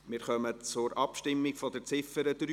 Wir kommen zur Abstimmung über die Ziffer 3.